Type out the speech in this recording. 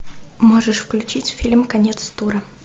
можешь включить фильм конец тура